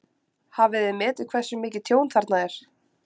Hafið þið metið hversu mikið tjón þarna er?